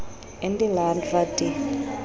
in die land wat die